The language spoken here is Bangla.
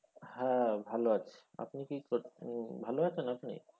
হ্যাঁ ভালো আছি আপনি কী করছে, আহ ভালো আছেন আপনি?